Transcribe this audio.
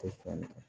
Tɛ fan